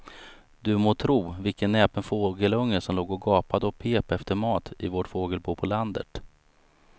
Du må tro vilken näpen fågelunge som låg och gapade och pep efter mat i vårt fågelbo på landet.